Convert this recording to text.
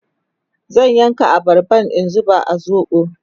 zan yanka abarban in zuba a zoɓo